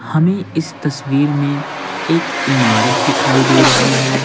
हमें इस तस्वीर में एक इमारत दिखाई दे रही है।